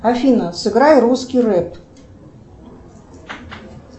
афина сыграй русский рэп